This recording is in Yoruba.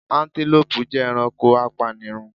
Antelopes jẹ ẹranko apanirun